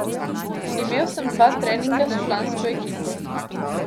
Imel sem dva treninga s člansko ekipo.